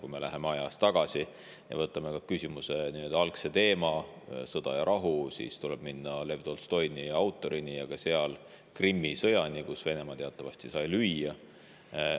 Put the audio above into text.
Kui me läheme ajas tagasi ja vaatame küsimuse algset teemat, sõda ja rahu, siis tuleb minna Lev Tolstoini, autorini ja Krimmi sõjani, kus Venemaa teatavasti sai lüüa.